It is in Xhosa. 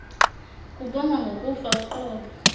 kubongwa ngokufa uqobo